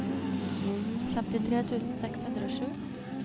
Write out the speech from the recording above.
femtitre tusen seks hundre og sju